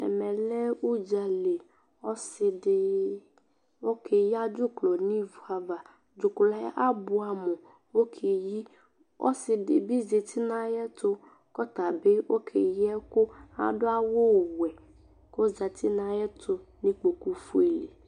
Ɛmɛ lɛɛ ʋdzaliƆsiɖi ɔkeyia' dzukrɔ n'ivuavadzukrɔɛ abuamu k'ɔkeyiƆsiɖibi zeti n'ayɛtʋ k'ɔtabi ɔkeyi ɛkʋ aɖʋ awuwɛ k'ozeti n'ayɛtʋ nʋ ikpoku fuele